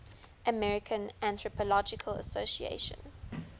american anthropological association